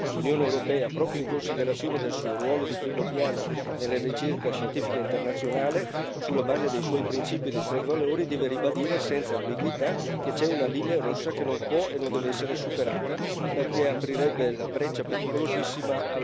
L'Unione europea, proprio in considerazione del suo ruolo di primo piano nella ricerca scientifica internazionale, sulla base dei suoi principi dei suoi valori, deve ribadire senza ambiguità che c'è una linea rossa che non può e non deve essere superata perché aprirebbe la breccia pericolosissima...